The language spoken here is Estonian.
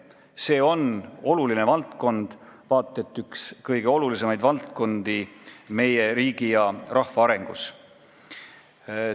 See on oluline valdkond, vaat et üks kõige olulisemaid valdkondi meie riigi ja rahva arengu seisukohalt.